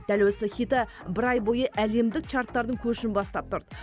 дәл осы хиты бір ай бойы әлемдік чарттардың көшін бастап тұрды